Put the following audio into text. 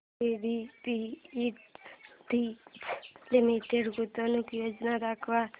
JBF industries limited गुंतवणूक योजना दाखव